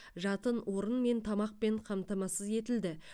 жатын орын мен тамақпен қамтамасыз етілді